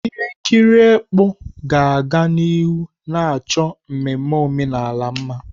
Ihe nkiri ekpó ga-aga n'ihu na achọ mmemme omenala mma.